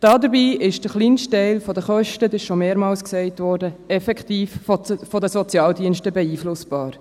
Dabei ist der kleinste Teil der Kosten – das wurde schon mehrmals gesagt – effektiv von den Sozialdiensten beeinflussbar.